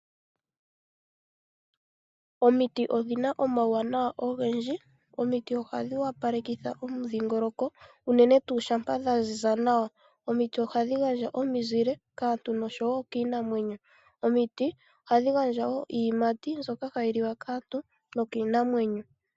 Omiti odhina omauwanawa ogendji. Omiti ohadhi opalekitha omudhingoloko unene tuu shampa dha ziza nawa. Omiti ohadhi gandja omizile kaantu noshowo kiinamwenyo. Omiti ohadhi gandja wo iiyimati mbyoka hayi liwa kaantu nokiinamwenyo.